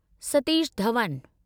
Satish Dhawan